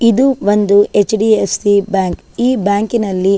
ಇದು ಒಂದು HDFC bank ಈ ಬ್ಯಾಂಕ್ ನಲ್ಲಿ--